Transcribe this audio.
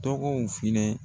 Tɔgɔw filɛ.